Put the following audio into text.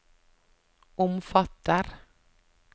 omfatter